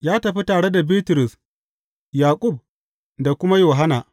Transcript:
Ya tafi tare da Bitrus, Yaƙub da kuma Yohanna.